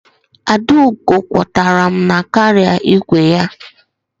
Adaugo kwọtara m na kaarịa igwe ya.